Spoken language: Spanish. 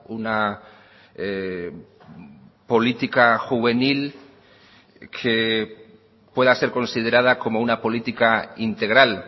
una política juvenil que pueda ser considerada como una política integral